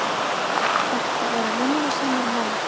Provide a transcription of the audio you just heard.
Þetta eru vinnusamir menn.